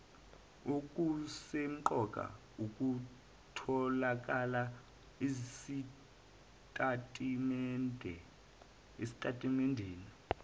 okusemqoka okutholakala esitatimendeni